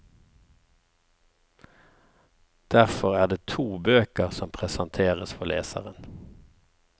Derfor er det to bøker som presenteres for leseren.